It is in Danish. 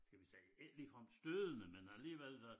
Skal vi sige ikke ligefrem stødende men alligevel da